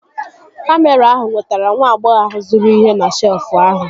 Kamịra ahụ nwetara nwa agbọghọ ahụ zụrụ ihe na shelfụ ahụ